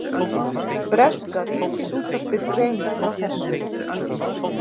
Breska ríkisútvarpið greinir frá þessu